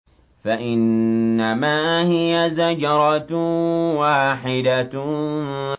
فَإِنَّمَا هِيَ زَجْرَةٌ وَاحِدَةٌ